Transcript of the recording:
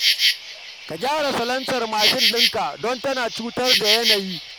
Ka gyara salansar mashin ɗinka don tana cutar da yanayi